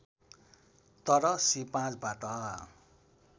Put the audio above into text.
तर श्री ५ बाट